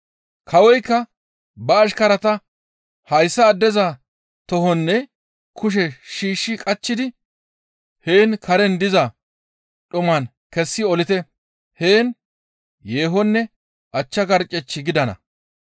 Kawoykka ba ashkarata, ‹Hayssa addeza tohonne kushe shiishshi qachchidi heen karen diza dhumaan kessi olite; heen yeehonne achcha garccech gidana.›